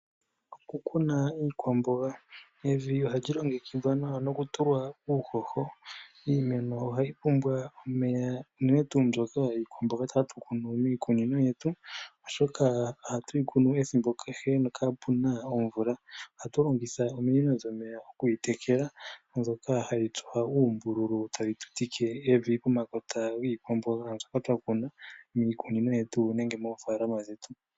Okukuna iikwamboga, evi ohali longekidhwa nawa nokutulwa uuhoho. Iimeno ohayi pumbwa omeya unene tuu mbyoka iikwamboga tse hatu kunu miikunino yetu, oshoka ohatu yi kunu ethimbo kehe nokaapuna omvula. Ohatu longitha ominino dhomeya okuyitekela mbyoka hayi tsuwa uumbululu tayi tutike evi pomakota giikwamboga mbyoka twakuna miikunino yetu nenge moofaalama dhetu.